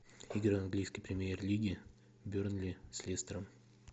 игра английской премьер лиги бернли с лестером